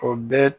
O bɛɛ